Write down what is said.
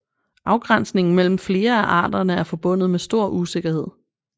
Afgrænsningen mellem flere af arterne er forbundet med stor usikkerhed